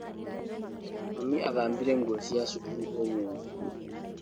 Mami athambirie nguo cia cukuru ũmũthĩ.